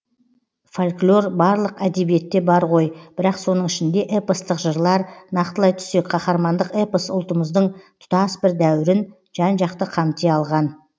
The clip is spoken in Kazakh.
фольклор барлық әдебиетте бар ғой бірақ соның ішінде эпостық жырлар нақтылай түссек қаһармандық эпос ұлттымыздың тұтас бір дәуірін жан жақты қамти алған